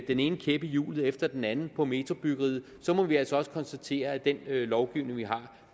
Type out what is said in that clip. den ene kæp i hjulet efter den anden på metrobyggeriet så må vi altså også konstatere at den lovgivning vi har